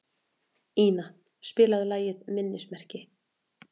Ina, spilaðu lagið „Minnismerki“.